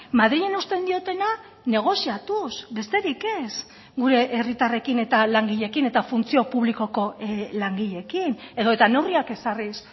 madrilen uzten diotena negoziatuz besterik ez gure herritarrekin eta langileekin eta funtzio publikoko langileekin edota neurriak ezarriz